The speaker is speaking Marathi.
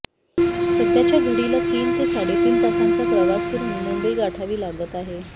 सध्याच्या घडीला तीन ते साडेतीन तासांचा प्रवास करून मुंबई गाठावी लागत आहे